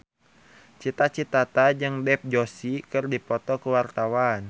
Cita Citata jeung Dev Joshi keur dipoto ku wartawan